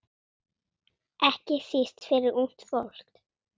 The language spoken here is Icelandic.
Ekki síst fyrir ungt fólk.